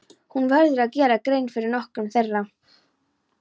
Hér verður gerð grein fyrir nokkrum þeirra.